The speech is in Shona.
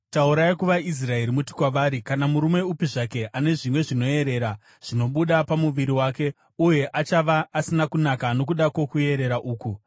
“Taurai navaIsraeri muti kwavari, ‘Kana murume upi zvake ane zvimwe zvinoerera, zvinobuda pamuviri wake, uye achava asina kunaka nokuda kwokuerera uku.